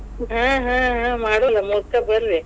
ಹಾ ಹಾ ಹಾ, ಮಾಡುನ ಮೋದಕಾ ಬರ್ರೀ.